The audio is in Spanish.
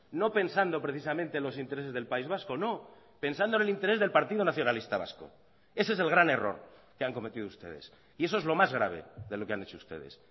no pensando precisamente los intereses del país vasco no pensando en el interés del partido nacionalista vasco ese es el gran error que han cometido ustedes y eso es lo más grave de lo que han hecho ustedes